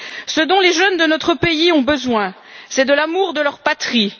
Ce dont les jeunes de notre pays ont besoin, c'est de l'amour de leur patrie.